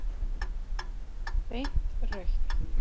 Beint rautt.